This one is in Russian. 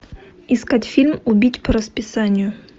искать фильм убить по расписанию